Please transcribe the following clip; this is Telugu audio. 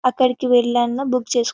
అక్కడికి వెళ్లైనా బుక్ చేస్కోవచ్చు --